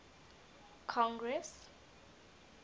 congress